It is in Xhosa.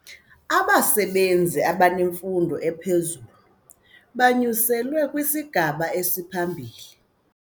Abasebenzi abanemfundo ephezulu banyuselwe kwisigaba esiphambili.